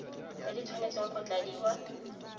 tse di tshwanetseng go tladiwa